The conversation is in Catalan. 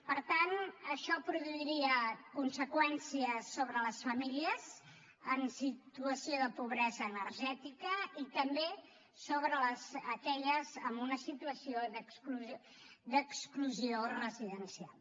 per tant això produiria conseqüències sobre les famílies en situació de pobresa energètica i també sobre aquelles en una situació d’exclusió residencial